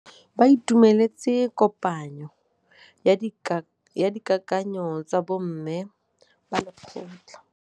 Ba itumeletse kôpanyo ya dikakanyô tsa bo mme ba lekgotla.